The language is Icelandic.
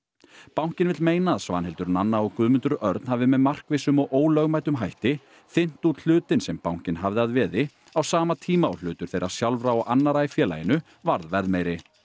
bankinn vill meina að Svanhildur Nanna og Guðmundur Örn hafi með markvissum og ólögmætum hætti þynnt út hlutinn sem bankinn hafði að veði á sama tíma og hlutur þeirra sjálfra og annarra í félaginu varð verðmeiri